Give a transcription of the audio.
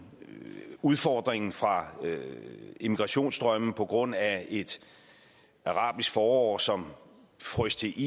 og udfordringen fra immigrationsstrømme på grund af et arabisk forår som frøs til